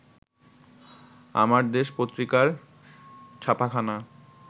আমার দেশ পত্রিকার ছাপাখানা